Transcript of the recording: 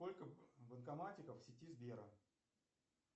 сколько банкоматиков в сети сбера